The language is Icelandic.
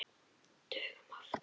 Dögum oftar.